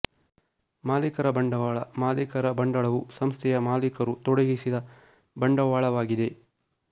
ಮಾಲೀಕರ ಬಂಡವಾಳ ಮಾಲೀಕರ ಬಂಡಳವು ಸಂಸ್ಥೆಯ ಮಾಲೀಕರು ತೊಡಗಿಸಿದ ಬಂಡವಾಳವಾಗಿದೆ